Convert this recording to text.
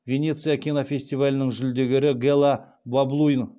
венеция кинофестивалінің жүлдегері гела баблуин